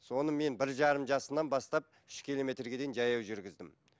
соны мен бір жарым жасынан бастап үш километрге дейін жаяу жүргіздім